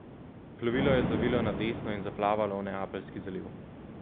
Plovilo je zavilo na desno in zaplavalo v Neapeljski zaliv.